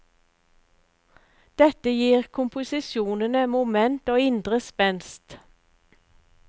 Dette gir komposisjonene moment og indre spenst.